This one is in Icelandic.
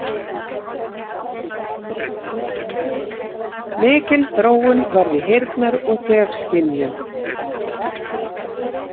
Mikil þróun varð í heyrnar- og þefskynjun.